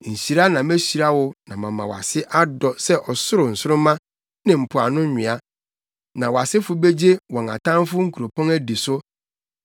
hyira na mehyira wo na mama wʼase adɔ sɛ ɔsoro nsoromma ne mpoano nwea. Na wʼasefo begye wɔn atamfo nkuropɔn adi so.